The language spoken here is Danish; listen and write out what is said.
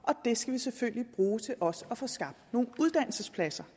det skal vi selvfølgelig bruge til også at få skabt nogle uddannelsespladser